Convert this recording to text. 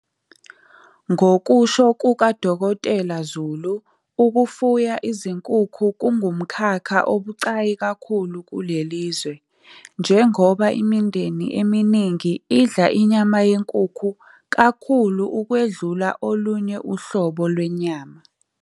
Ngokusho kuka-Dkt Zulu, ukufuya izinkukhu kungumkhakha obucayi kakhulu kuleli lizwe, njengoba imindeni eminingi idla inyama yenkukhu kakhulu ukwedlula olunye uhlobo lwenyama.